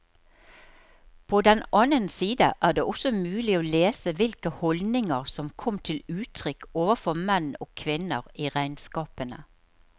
På den annen side er det også mulig å lese hvilke holdninger som kom til uttrykk overfor menn og kvinner i regnskapene.